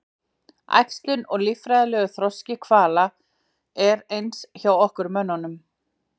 Einkum á seinni árum